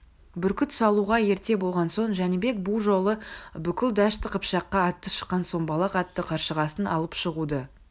бүркіт салуға ерте болған соң жәнібек бұ жолы бүкіл дәшті қыпшаққа аты шыққан сомбалақ атты қаршығасын алып шығуды